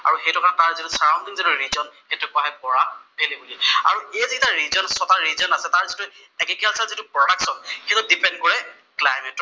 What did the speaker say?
আৰু সেইটো এটা তাৰ যিটো চাৰাউনদিং যিটো ৰিজন, সেইটোক কোৱা হয় বৰাক ভেলী বুলি। আৰু এই কেইটা ৰিজন, যি ছটা ৰিজন আছে তাৰ যিটো এগ্ৰিকালচাৰ যিটো প্ৰদাকচন, সেইটো দিপেন্দ কৰে ক্লাইমেটৰ ওপৰত